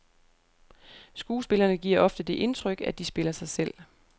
Skuespillerne giver ofte det indtryk, at de spiller sig selv.